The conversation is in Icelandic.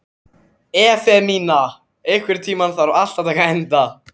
Efemía, einhvern tímann þarf allt að taka enda.